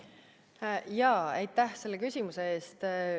Aitäh selle küsimuse eest!